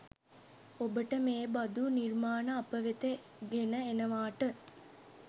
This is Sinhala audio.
ඔබට මේ බදු නිර්මාණ අපවෙත ගෙන එනවාට